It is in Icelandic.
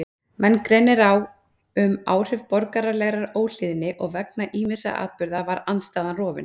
Menn greinir á um áhrif borgaralegrar óhlýðni og vegna ýmissa atburða var andstaðan rofin.